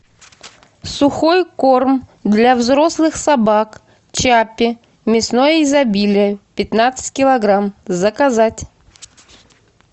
сухой корм для взрослых собак чаппи мясное изобилие пятнадцать килограмм заказать